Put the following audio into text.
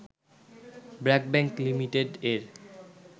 BRAC bank লিঃ এর